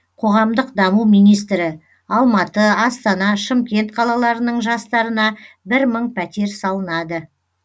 қоғамдық даму министрі алматы астана шымкент қалаларының жастарына бір мың пәтер салынады